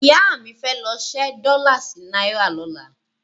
Ìyá mi fẹ́ lọ ṣẹ́ dọ́là sí náírà lọ́la.